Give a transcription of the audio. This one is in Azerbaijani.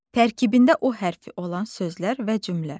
Tərkibində o hərfi olan sözlər və cümlə.